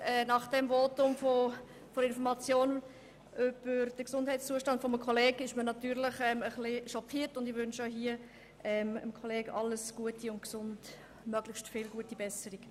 Nach der Information über den Gesundheitszustand eines Kollegen ist man natürlich etwas schockiert, und ich wünsche Stefan Berger alles Gute und möglichst gute Besserung.